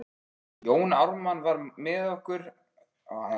Jón Ármann var með nokkur skrifuð blöð í frakkavasanum.